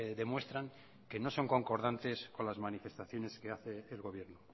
demuestran que no son concordantes con las manifestaciones que hace el gobierno